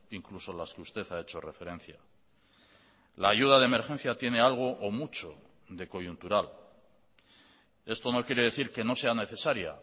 incluso las que usted ha hecho referencia la ayuda de emergencia tiene algo o mucho de coyuntural esto no quiere decir que no sea necesaria